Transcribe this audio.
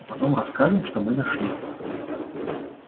а потом расскажем что мы нашли